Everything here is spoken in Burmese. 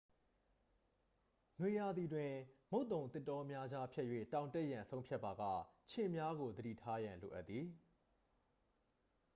နွေရာသီတွင် မုတ်သုန်သစ်တောများကြား ဖြတ်၍ တောင်တက်ရန် ဆုံးဖြတ်ပါက ခြင်များကို သတိထားရန် လိုအပ်သည်